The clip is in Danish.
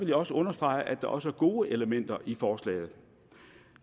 jeg også understrege at der også er gode elementer i forslaget